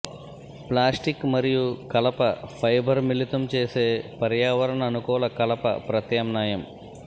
plastic మరియు కలప fibre మిళితం చేసే పర్యావరణ అనుకూల కలప ప్రత్యామ్నాయం